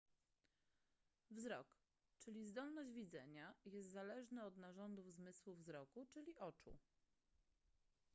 wzrok czyli zdolność widzenia jest zależny od narządów zmysłu wzroku czyli oczu